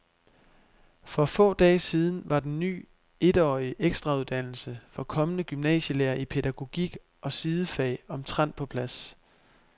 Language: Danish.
For få dage siden var den ny etårige ekstrauddannelse for kommende gymnasielærere i pædagogik og sidefag omtrent på plads.